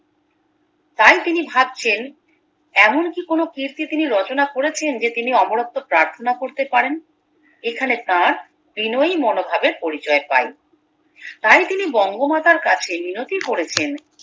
তাই তিনি ভাবছেন এমন কি কোনো কীর্তি তিনি রচনা করেছেন যে তিনি অমরত্ব প্রার্থনা করতে পারেন এখানে তার বিনয়ী মনোভাবের পরিচয় পাই তাই তিনি বঙ্গমাতার কাছে মিনতি করেছেন